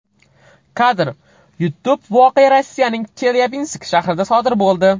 Kadr: YouTube Voqea Rossiyaning Chelyabinsk shahrida sodir bo‘ldi.